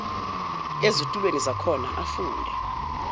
ezitulweni zakhona afunde